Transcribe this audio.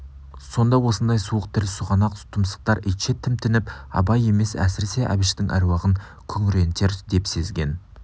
сонда осындай суық тіл сұғанақ тұмсықтар итше тімтініп абай емес әсіресе әбіштің әруағын күңірентер деп сезген